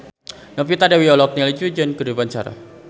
Novita Dewi olohok ningali Du Juan keur diwawancara